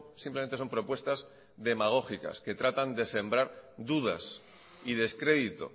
simplemente son propuestas demagógicas que tratan de sembrar dudas y descrédito